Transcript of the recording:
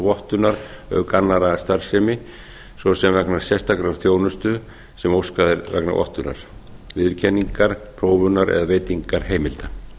vottunar auk annarrar starfsemi svo sem vegna sérstakrar þjónustu sem óskað er vegna vottunar viðurkenningar prófunar eða veitinga heimilda